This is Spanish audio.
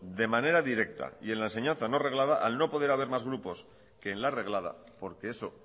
de manera directa y en la enseñanza no reglada al no poder haber más grupos que en la reglada porque eso